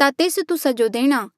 ता तेस तुस्सा जो देणा